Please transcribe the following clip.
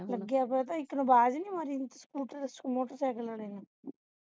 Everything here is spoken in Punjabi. ਲਗੇ ਆ ਇਕ ਨੂੰ ਆਵਾਜ਼ ਨਹੀਂ ਮਾਰੀ scoter motorcycle ਨੇ